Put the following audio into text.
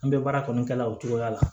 An bɛ baara kɔni kɛ la o cogoya la